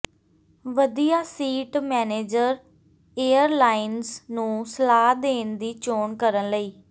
ਵਧੀਆ seat manager airlines ਨੂੰ ਸਲਾਹ ਲੈਣ ਦੀ ਚੋਣ ਕਰਨ ਲਈ